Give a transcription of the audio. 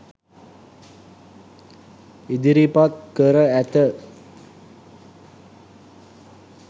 ඉදිරිපත් කර ඇත